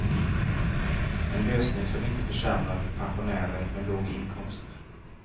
En lösning som inte försämrar för pensionärer med låg inkomst.